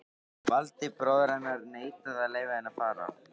Valdi, bróðir hennar, neitaði að leyfa henni að fara.